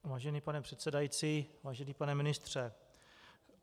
Vážený pane předsedající, vážený pane ministře.